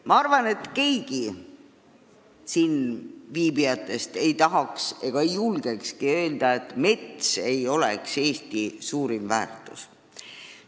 Ma arvan, et keegi siin viibijatest ei tahaks ega julgekski öelda, et mets ei ole Eesti suurim väärtus.